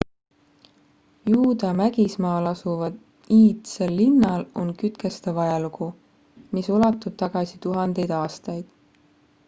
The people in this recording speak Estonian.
juuda mägismaal asuval iidsel linnal on kütkestav ajalugu mis ulatub tagasi tuhandeid aastaid